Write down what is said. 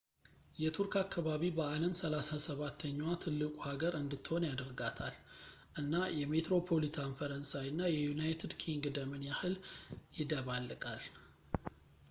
የቱርክ አከባቢ በዓለም 37 ኛዋ ትልቁ ሀገር እንድትሆን ያደርጋታል ፣ እና የሜትሮፖሊታን ፈረንሳይ እና የዩናይትድ ኪንግደምን ያህል ይደባለቃል